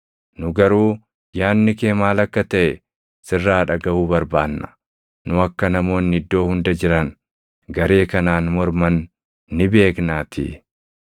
Nu garuu yaadni kee maal akka taʼe sirraa dhagaʼuu barbaanna; nu akka namoonni iddoo hunda jiran garee kanaan morman ni beeknaatii.”